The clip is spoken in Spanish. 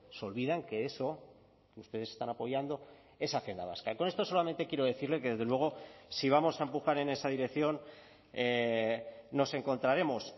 se olvidan que eso ustedes están apoyando esa agenda vasca y con esto solamente quiero decirle que desde luego si vamos a empujar en esa dirección nos encontraremos